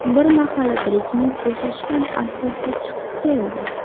Bir mahal Brejnev bo‘shashgan alfozda chiqib keldi.